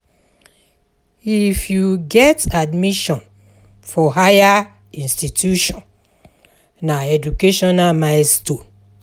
If you get admission for higher institution, na educational milestone.